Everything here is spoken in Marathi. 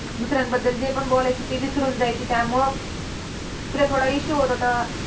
दुसऱ्यांबद्दल जे पण बोलायची ते विसरून जायची. त्यामुळे तिला थोडा issue होत होता.